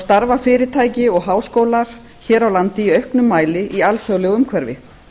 starfa fyrirtæki og háskólar hér á landi í auknum mæli í alþjóðlegu umhverfi